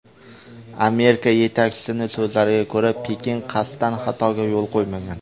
Amerika yetakchisining so‘zlariga ko‘ra, Pekin qasddan xatoga yo‘l qo‘ymagan.